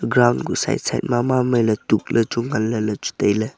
ground kuh side side maaile tuk le chu nganle le chu taile.